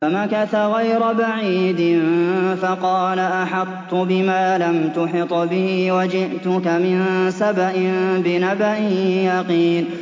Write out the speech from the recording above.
فَمَكَثَ غَيْرَ بَعِيدٍ فَقَالَ أَحَطتُ بِمَا لَمْ تُحِطْ بِهِ وَجِئْتُكَ مِن سَبَإٍ بِنَبَإٍ يَقِينٍ